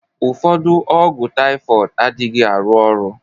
Ụfọdụ ọgwụ typhoid adịghị arụ ọrụ